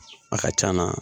A ka c'an na